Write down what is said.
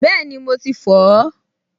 Bẹ́ẹ̀ni, mo ti fọ̀ ọ́